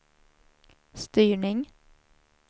styrning